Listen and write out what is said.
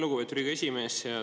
Lugupeetud Riigikogu esimees!